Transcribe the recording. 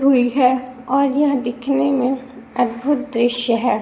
हुई है और यह दिखने में अद्भुत दृश्य है।